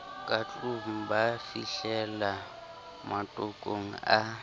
ka tlong ba fihlelammatoko a